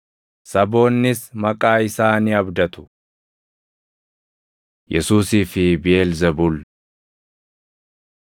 Saboonnis maqaa isaa ni abdatu.” + 12:21 \+xt Isa 42:1‑4\+xt* Yesuusii fi Biʼeelzebuul 12:25‑29 kwf – Mar 3:23‑27; Luq 11:17‑22